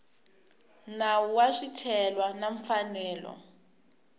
nawu wa swicelwa na mfanelo